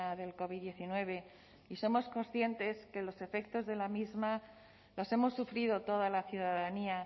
del covid hemeretzi y somos conscientes que los efectos de la misma los hemos sufrido toda la ciudadanía